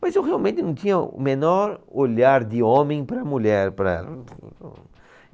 Mas eu realmente não tinha o menor olhar de homem para mulher, para ela.